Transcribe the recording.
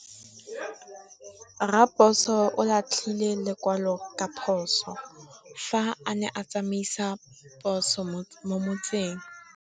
Raposo o latlhie lekwalô ka phosô fa a ne a tsamaisa poso mo motseng.